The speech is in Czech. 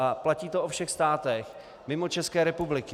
A platí to o všech státech mimo České republiky.